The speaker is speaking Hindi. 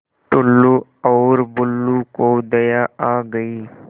टुल्लु और बुल्लु को दया आ गई